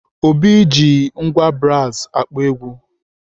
Obi ji ngwá brasi akpọ egwu.